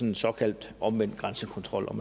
en såkaldt omvendt grænsekontrol